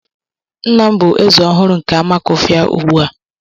Nna m bụ Eze ọhụrụ nke Amakufia ugbu a.